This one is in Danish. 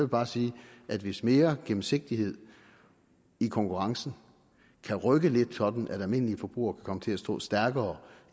bare sige at hvis mere gennemsigtighed i konkurrencen kan rykke det lidt sådan at almindelige forbrugere kan komme til at stå stærkere